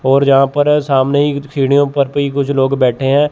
और जहां पर अ सामने ही सीढ़ियों पर पे ही कुछ लोग बैठे हैं।